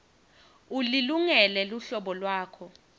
ulilungele luhlolo lwakho